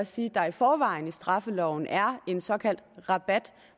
sige at der i forvejen i straffeloven er en såkaldt rabat